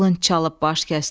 qılınc çalıb baş kəsdin.